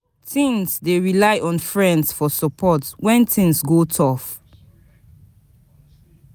Teens dey rely on friends for support when things go tough.